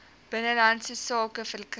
binnelandse sake verkry